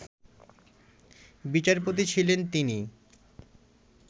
বিচারপতি ছিলেন তিনি